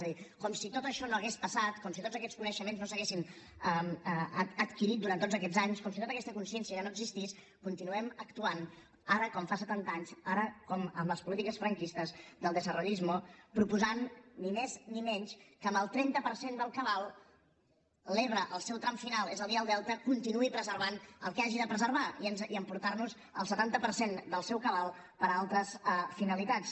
és a dir com si tot això no hagués passat com si tots aquests coneixements no s’haguessin adquirit durant aquests anys com si tota aquesta consciència ja no existís continuem actuant ara com fa setanta anys ara com amb les polítiques franquistes del desarrollismoproposant ni més ni menys que amb el trenta per cent del cabal l’ebre al seu tram final és a dir el delta continuï preservant el que hagi de preservar i emportar nos el setanta per cent del seu cabal per a altres finalitats